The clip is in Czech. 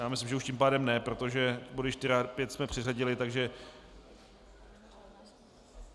Já myslím, že už tím pádem ne, protože body 4 a 5 jsme přeřadili, takže...